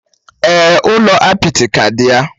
Èè, ụlọ apịtị ka dị ya.